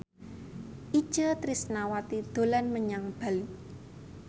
Itje Tresnawati dolan menyang Bali